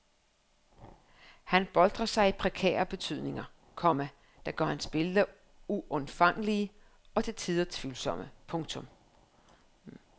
Han boltrer sig i prekære betydninger, komma der gør hans billeder uindfangelige og til tider tvivlsomme. punktum